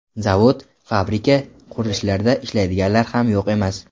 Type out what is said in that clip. Zavod, fabrika, qurilishlarda ishlaydiganlari ham yo‘q emas.